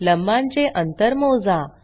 लंबांचे अंतर मोजा